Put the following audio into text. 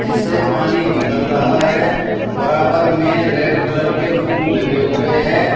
इससे पानी निकल रहा है बराबर में रेड कलर के फूल लगे हुए हैं।